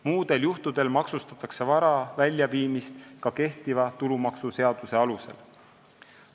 Muudel juhtudel maksustatakse vara väljaviimist ka kehtiva tulumaksuseaduse alusel.